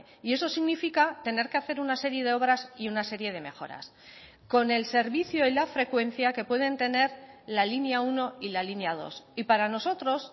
y eso significa tener que hacer una serie de obras y una serie de mejoras con el servicio y la frecuencia que pueden tener la línea uno y la línea dos y para nosotros